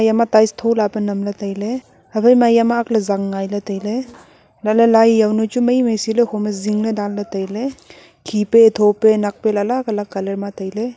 ema tiles thola pa namley tailey aphaima yama akley zang ngailey tailey alahley lai yawnu chu mai mai seley hom e zingley danley tailey khipe thope nakpe ley colour ma tailey.